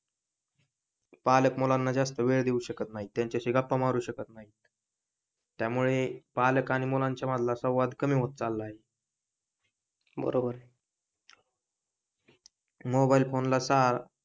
पालक मुलांना वेळ देऊ शकत नाही, त्यांच्याशी गप्पा मारू शकत नाही त्यामुळे पालक आणि मुलांचे सवांद कमी होत चाललं आहे बरोबर मोबाइल फोन,